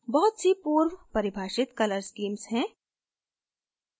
बहुत सी पूर्वपरिभाषित color schemes हैं